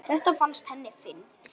Þetta fannst henni fyndið.